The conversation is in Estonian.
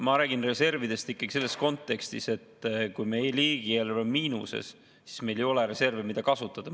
Ma räägin reservidest ikkagi selles kontekstis, et kui meil riigieelarve on miinuses, siis meil ei ole reserve, mida kasutada.